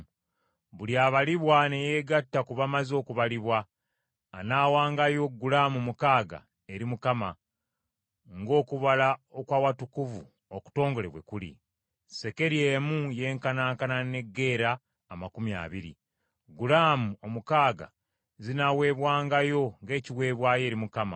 Buli abalibwa ne yeegatta ku bamaze okubalibwa, anaawaangayo gulaamu mukaaga eri Mukama , ng’okubala okw’Awatukuvu okutongole bwe kuli. Sekeri emu yenkanankana ne gera amakumi abiri. Gulaamu omukaaga zinaaweebwangayo ng’ekiweebwayo eri Mukama .